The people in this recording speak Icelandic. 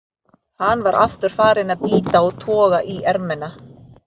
Hann var aftur farinn að bíta og toga í ermina.